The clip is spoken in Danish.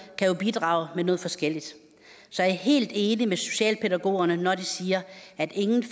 kan jo bidrage med noget forskelligt så jeg er helt enig med socialpædagogerne når de siger at ingen